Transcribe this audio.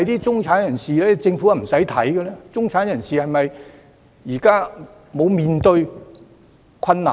中產人士現時是否無須面對困難呢？